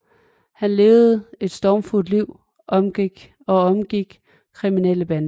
Han levede et stormfuldt liv og omgik kriminelle bander